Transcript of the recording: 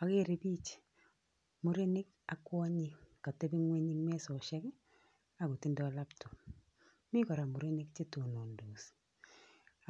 Akere biich, murenik ak kwonyik katebi ng'uny eng mesoshek akotindoi laptop. Mi kora murenik chetonondos